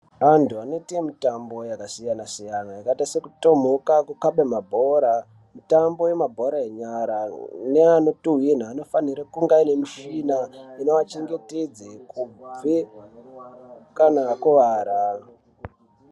Vantu vanoita mitambo yakasiyana siyana yakaita sekutomuka kukaba mabhora mitambo yemabhora enyara neanoikamhina anofana kunge ane tsvina inovachengetedza kubva kana akuwara.